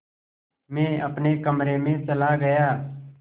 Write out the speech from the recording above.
मैं अपने कमरे में चला गया